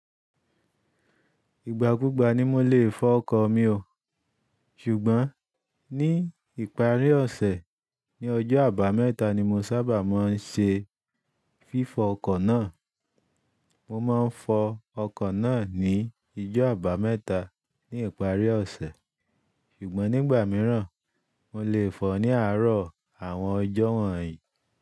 Ìgbà ku gbà ni mo lè fọ ọkọ̀ mi o. Ṣùgbọ́n ní ìparí ọ̀sẹ̀, ní ọjọ́ àbámẹ́ta ni mo sábà máa ń ṣe fífọ ọkọ̀ náà. Mo máa ń fọ ọkọ̀ náà ní ijó àbámẹ́ta ní ìparí ọ̀sẹ̀. Ṣùgbọ́n nígbà mìíràn, mo lè fọọ̀ ní àárọ̀ àwọn ọjọ́ wọ̀nyí.